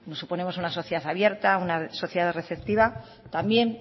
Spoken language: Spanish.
nos suponemos una sociedad abierta una sociedad receptiva también